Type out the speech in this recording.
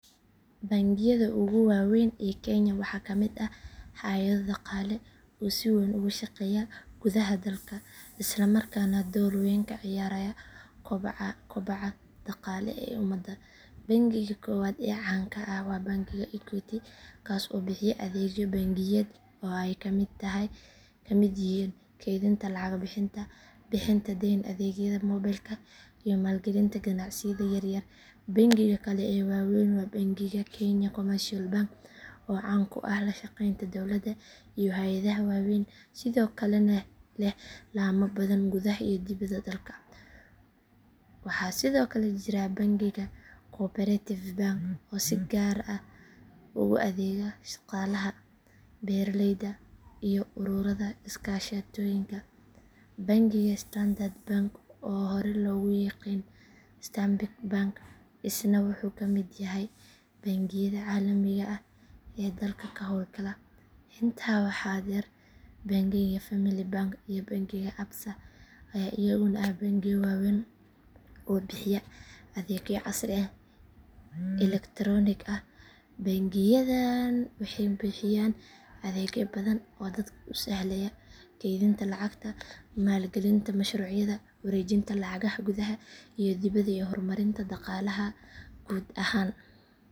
Bangiyada ugu waaweyn ee kenya waxaa ka mid ah hay’ado dhaqaale oo si weyn uga shaqeeya gudaha dalka isla markaana door weyn ka ciyaara kobaca dhaqaale ee ummadda. Bangiga koowaad ee caan ah waa bangiga equity kaas oo bixiya adeegyo bangiyeed oo ay ka mid yihiin kaydinta lacagta, bixinta deyn, adeegyada mobilka iyo maalgelinta ganacsiyada yaryar. Bangiga kale ee waaweyn waa bangiga kenya commercial bank oo caan ku ah la shaqeynta dowladda iyo hay’adaha waaweyn sidoo kalena leh laamo badan gudaha iyo dibadda dalka. Waxaa sidoo kale jira bangiga cooperative bank oo si gaar ah ugu adeega shaqaalaha, beeraleyda iyo ururada iskaashatooyinka. Bangiga standard bank oo hore loogu yiqiin stanbic bank isna wuxuu ka mid yahay bangiyada caalamiga ah ee dalka ka howlgala. Intaa waxaa dheer bangiga family bank iyo bangiga absa ayaa iyaguna ah bangiyo waaweyn oo bixiya adeegyo casri ah oo elektaroonik ah. Bangiyadan waxay bixiyaan adeegyo badan oo dadka u sahlaya kaydinta lacagta, maalgelinta mashruucyada, wareejinta lacagaha gudaha iyo dibadda iyo horumarinta dhaqaalaha guud ahaan.